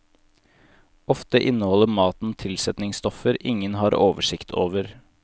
Ofte inneholder maten tilsetningsstoffer ingen har oversikt over.